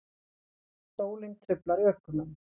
Sólin truflar ökumenn